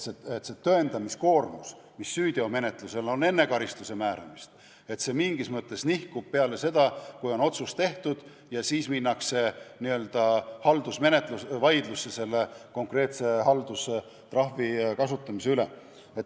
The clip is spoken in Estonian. See tõendamiskoormus, mis süüteo menetlusel on enne karistuse määramist, nihkub mingis mõttes edasi, sellesse aega, kui otsus on tehtud, ja siis minnakse n-ö haldusvaidlusesse konkreetse haldustrahvi kasutamise üle.